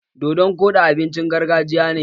Dodon koɗi abincin gargajiya ne.